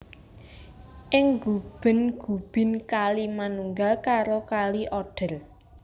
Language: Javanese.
Ing Guben Gubin kali manunggal karo Kali Oder